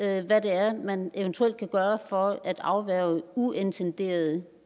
af hvad det er man eventuelt kan gøre for at afværge uintenderede